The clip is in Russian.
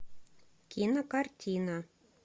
кинокартина